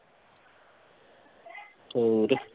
ਹੋਰ।